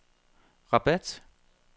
Rabat